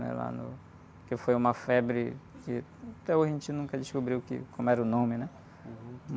né? Lá no... Porque foi uma febre que até hoje a gente nunca descobriu que, como era o nome, né?